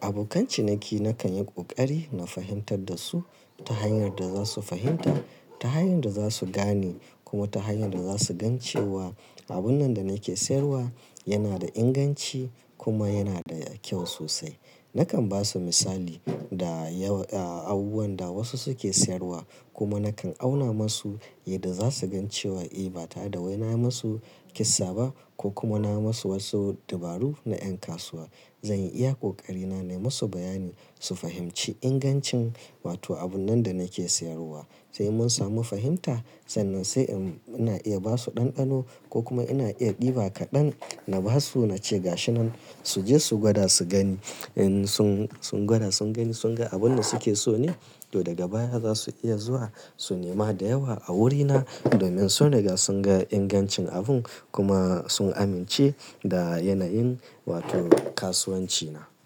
abokan ciniki nakan yi ƙoƙari na fahimtar da su ta hanyar da zasu fahimta, ta hanyar da za su gane kuma ta hanyar da za su gan cewa abun nan da nake sayarwa yana da inganci kuma yana da kyau sosai. Nakan ba su misali da yau, ah, abubuwan da wasu suke sayarwa kuma nakan auna masu yadda za su gan cewa eh ba tare da wai na ma su kissa ba kokuma na ma su wasu dabaru na ƴan kasuwa. Zanyi iya ƙoƙari na nai masu bayani su fahimci ingancin wato abun nan da nake sayarwa. Sai mun samu fahimta, sannan sai in, ina iya basu ɗanɗano ko kuma ina iya ɗiba kaɗan na basu nace ga shi nan suje su gwada su gani. In sun, sun gwada sun gani sun ga abun da suke so ne to daga baya za su iya zuwa su nema da yawa a wurina domin sun riga sun ga ingancin abun kuma sun amince da yanayin wato kasuwanci na.